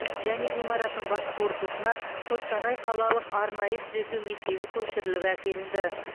және ғимараттың басқа корпусына қостанай қалалық арнайы түзету мектебі көшіріліп әкелінді